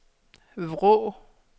Vrå